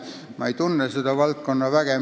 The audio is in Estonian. Ma ei tunne seda valdkonda väga.